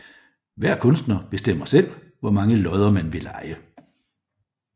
Hver kunstner bestemmer selv hvor mange lodder man vil leje